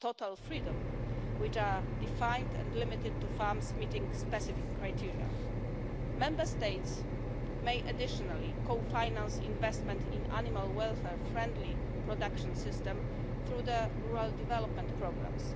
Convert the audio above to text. total freedom free range', which are defined and limited to farms meeting specific criteria. Member States may additionally co-finance investment in animal-welfare-friendly production systems through the Rural Development Programmes.